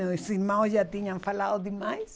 Meus irmãos já tinham falado demais.